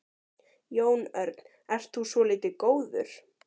Jón Örn: Ert þú svolítið góður?